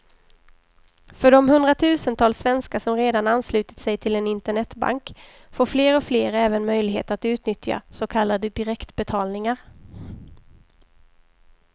För de hundratusentals svenskar som redan anslutit sig till en internetbank får fler och fler även möjlighet att utnyttja så kallade direktbetalningar.